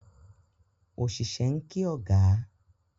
Osise n ki oga.